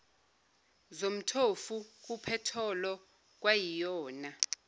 zomthofu kuphetholo kwayiyona